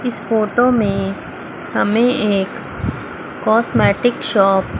इस फोटो में हमें एक कॉस्मेटिक शॉप --